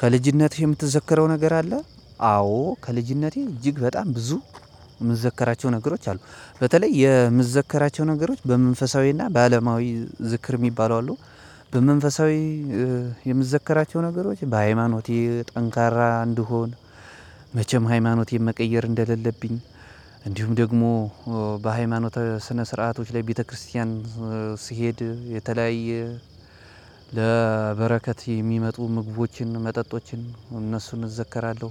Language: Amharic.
ከልጅነቴ የምትዘከረው ነገር አለ? አዎ ከልጅነቴ እጅግ በጣም ብዙ የምዘክራቸው ነገሮች አሉ በተለይ የምዘክራቸው ነገሮች በመንፈሳዊና በአለማዊ ዝክር የሚባሉ አሉ። በመንፈሳዊ የምዘክራቸው ነገሮች በሃይማኖት ጠንካራ እንድሆን መቼም ሃይማኖቴን መቀየር እንደሌለብኝ እንዲሁም ደግሞ በሃይማኖት ስነ ስርዓቶች ላይ ቤተክርስቲያን ሲሄድ የተለያየ ለበረከት የሚመጡ ምግቦችን መጠጦችን እነሱን እዘክራለሁ።